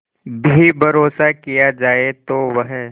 भी भरोसा किया जाए तो वह